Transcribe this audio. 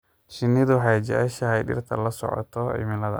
Shinnidu waxay jeceshahay dhirta la socota cimilada.